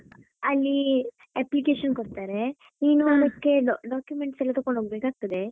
ಅಲ್ಲಿ application ಕೊಡ್ತಾರೆ ನೀನು documents ಎಲ್ಲ ತಗೊಂಡು ಹೋಗ್ಬೇಕಾಗ್ತದೆ.